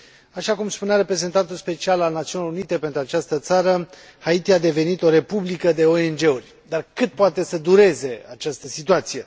Așa cum spunea reprezentantul special al Națiunilor Unite pentru această țară, Haiti a devenit o republică de ONG uri. Dar cât poate să dureze această situație?